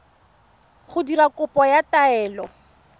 go dira kopo ya taelo